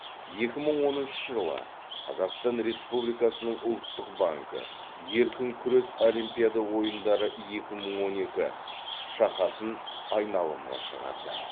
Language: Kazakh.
екі мың оныншы жылы қазақстан республикасының ұлттық банкі еркін күрес олимпиада ойындары екі мың он екі шақасын айналымға шығарды